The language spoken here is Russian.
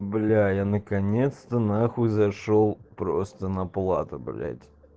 бля я наконец-то на хуй зашёл просто на плату блять